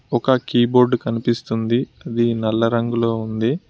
ఒక కీబోర్డ్ కనిపిస్తుంది అది నల్ల రంగులో ఉన్నది.